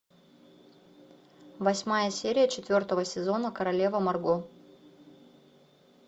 восьмая серия четвертого сезона королева марго